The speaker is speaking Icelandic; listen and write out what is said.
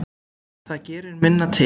Það gerir minna til.